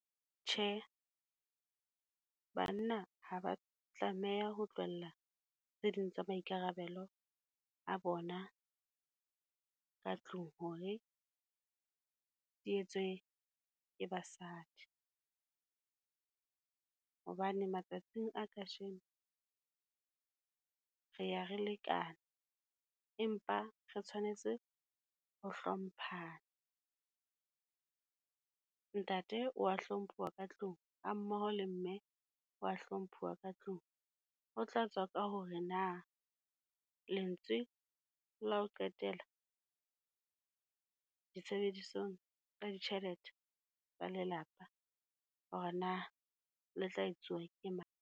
Tjhe, banna ha ba tlameha ho tlohella tse ding tsa maikarabelo a bona ka tlung hore di etswe ke basadi. Hobane matsatsing a kajeno, re ya re lekane, empa re tshwanetse ho hlomphana. Ntate o wa hlomphuwa ka tlung, ha mmoho le mme o wa hlomphuwa ka tlung. Ho tlatswa ka hore na, lentswe la ho qetela ditshebedisong tsa ditjhelete tsa lelapa, ho re na le tla etsuwa ke mang?